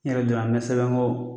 Yɛrɛ n bɛ sɛbɛn kɔ